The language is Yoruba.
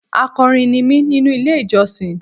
Akọrin ní mi nínú ilé ìjọsìn.